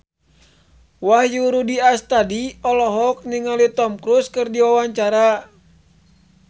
Wahyu Rudi Astadi olohok ningali Tom Cruise keur diwawancara